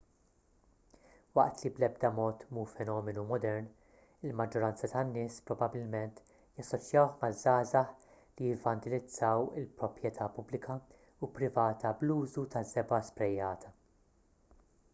waqt li bl-edba mod mhu fenomenu modern il-maġġoranza tan-nies probabbilment jassoċjawh maż-żgħażagħ li jivvandilizzaw il-proprjetà pubblika u privata bl-użu taż-żebgħa sprejjata